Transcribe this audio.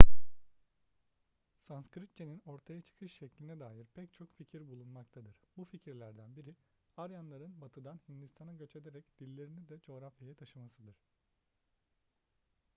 sanskritçe'nin ortaya çıkış şekline dair pek çok fikir bulunmaktadır bu fikirlerden biri aryanların batı'dan hindistan'a göç ederek dillerini de coğrafyaya taşımasıdır